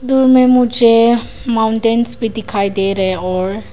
कुछ दूर में मुझे माउंटेंस भी दिखाई दे रहे हैं और--